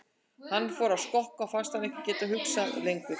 Hann fór að skokka og fannst hann ekki geta hugsað lengur.